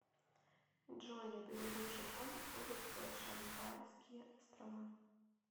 джой на берегу чего находится шантарские острова